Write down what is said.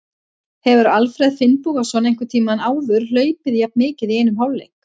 Hefur Alfreð Finnbogason einhvern tímann áður hlaupið jafn mikið í einum hálfleik?